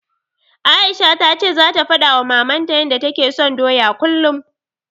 Aisha ta ce zata faɗawa Mamanta yanda take son doya kullum.